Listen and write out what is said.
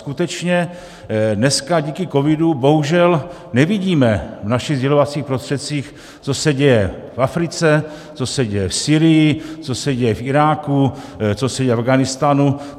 Skutečně dneska díky covidu bohužel nevidíme v našich sdělovacích prostředcích, co se děje v Africe, co se děje v Sýrii, co se děje v Iráku, co se děje v Afghánistánu.